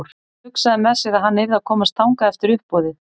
Hann hugsaði með sér að hann yrði að komast þangað eftir uppboðið.